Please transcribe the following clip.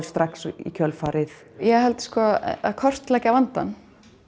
strax í kjölfarið ég held sko að kortleggja vandann